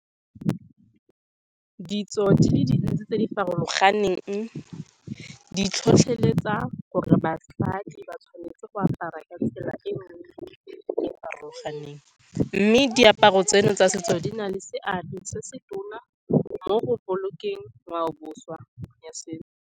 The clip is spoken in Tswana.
Ditso di le dintsi tse di farologaneng, di tlhotlheletsa gore batlhami ba tshwanetse go apara ka tsela farologaneng, mme diaparo tseno tsa setso di na le seabe se se tona mo go bolokeng ngwao boswa ya setso.